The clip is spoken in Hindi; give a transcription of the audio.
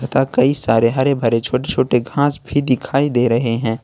कई सारे हरे भरे छोटे छोटे घास भी दिखाई दे रहे हैं ।